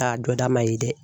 A jɔda ma ye dɛ.